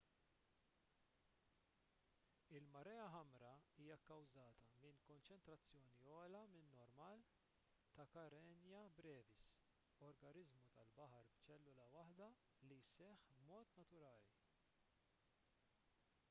il-marea ħamra hija kkawżata minn konċentrazzjoni ogħla min-normal ta' karenia brevis organiżmu tal-baħar b'ċellula waħda li jseħħ b'mod naturali